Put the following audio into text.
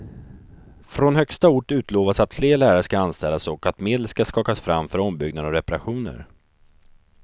Från högsta ort utlovas att fler lärare ska anställas och att medel ska skakas fram för ombyggnader och reparationer.